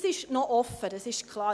Dies ist noch offen, das ist klar.